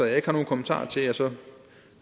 jeg ikke har nogen kommentarer til og så